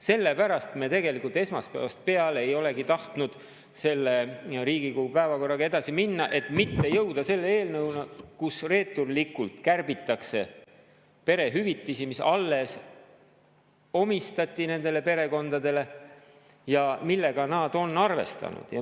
Sellepärast me tegelikult esmaspäevast peale ei olegi tahtnud selle Riigikogu päevakorraga edasi minna, et mitte jõuda selle eelnõuni, kus reeturlikult kärbitakse perehüvitisi, mida nendele perekondadele alles ja millega nad on arvestanud.